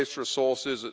It wastes resources.